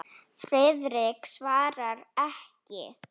Friðrik svaraði ekki.